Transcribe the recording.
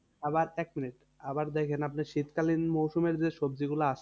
আবার এক মিনিট আবার দেখেন আপনি শীতকালীন মরসুমের যে সবজি গুলা আসে,